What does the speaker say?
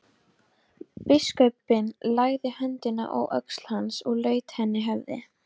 Biskupinn lagði höndina á öxl hans og laut einnig höfði.